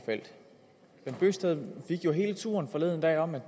bent bøgsted fik jo hele turen forleden dag om det